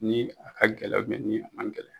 Ni a ka gɛlɛ ni a man gɛlɛ.